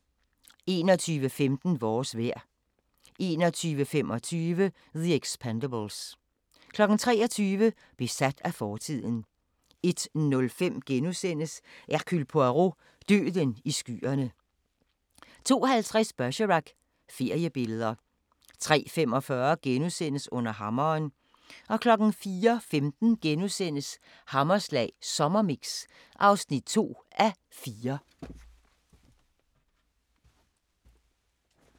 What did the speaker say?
21:15: Vores vejr 21:25: The Expendables 23:00: Besat af fortiden 01:05: Hercule Poirot: Døden i skyerne * 02:50: Bergerac: Feriebilleder 03:45: Under hammeren * 04:15: Hammerslag Sommermix (2:4)*